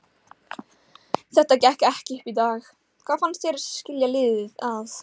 Þetta gekk ekki upp í dag, hvað fannst þér skilja liðin að?